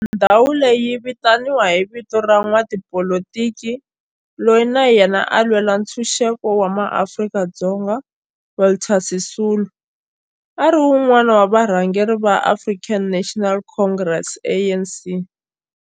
Ndhawo leyi yi vitaniwa hi vito ra n'watipolitiki loyi na yena a lwela ntshuxeko wa maAfrika-Dzonga Walter Sisulu, a ri wun'wana wa varhangeri va African National Congress, ANC.